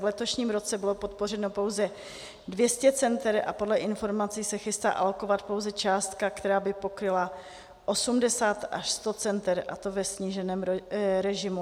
V letošním roce bylo podpořeno pouze 200 center a podle informací se chystá alokovat pouze částka, která by pokryla 80 až 100 center, a to ve sníženém režimu.